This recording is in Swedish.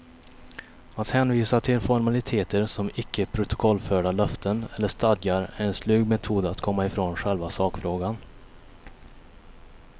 Att hänvisa till formaliteter som icke protokollförda löften eller stadgar är en slug metod att komma ifrån själva sakfrågan.